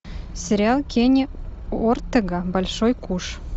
сериал кенни ортега большой куш